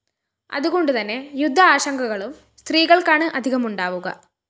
അതുകൊണ്ടുതന്നെ യുദ്ധാശങ്കകളും സ്ത്രീകള്‍ക്കാണ് അധികമുണ്ടാവുക